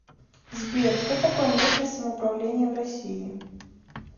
сбер что такое местное самоуправление в россии